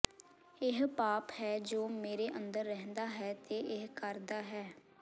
ਇਹ ਪਾਪ ਹੈ ਜੋ ਮੇਰੇ ਅੰਦਰ ਰਹਿੰਦਾ ਹੈ ਤੇ ਇਹ ਕਰਦਾ ਹੈ